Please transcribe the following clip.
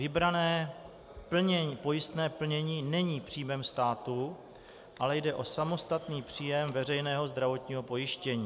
Vybrané pojistné plnění není příjmem státu, ale jde o samostatný příjem veřejného zdravotního pojištění.